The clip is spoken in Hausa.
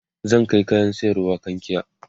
zan Kai kayan sayarwa kankia